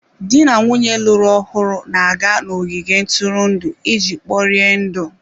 Di na nwunye lụrụ ọhụrụ na-aga n'ogige ntụrụndụ iji kporie ndụ.